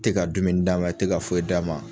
Tɛ ka dumuni d'a ma, i tɛ ka foyi d'a ma.